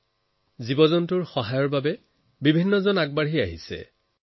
সিহঁতৰ সহায়ৰ বাবেও বহু লোক আগবাঢ়ি আহে